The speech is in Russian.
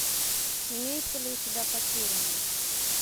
имеется ли у тебя потерянный